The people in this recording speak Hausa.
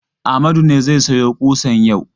Amadu ne zai sayo ƙusan yau.